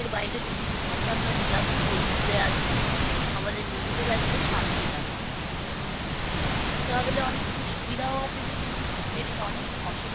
কাজের বাইরে যদি দু ঘণ্টা আমরা relax করি ঘুরে আসি আমাদের নিজেদেরও একটা শান্তি লাগে। travel এ অনেক সুবিধাও আছে যেমনি তেমনি অনেক